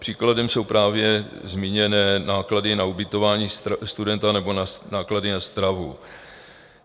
Příkladem jsou právě zmíněné náklady na ubytování studenta nebo náklady na stravu.